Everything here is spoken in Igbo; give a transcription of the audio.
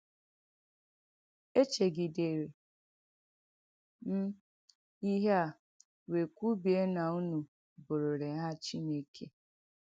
Èchègidèrè m ihe à wéé kwùbie na unu bụ̀rị̀rị̀ Hà Chìnèkè.